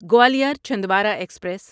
Gwalior Chhindwara express